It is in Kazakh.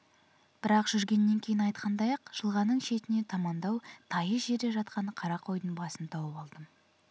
бірақ жүргеннен кейін айтқандай-ақ жылғаның шетіне тамандау тайыз жерде жатқан қара қойдың басын тауып алдым